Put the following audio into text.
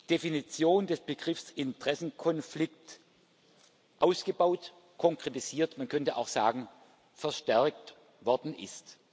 Definition des Begriffs Interessenkonflikt ausgebaut, konkretisiert, man könnte auch sagen, verstärkt worden ist.